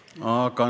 Aga ...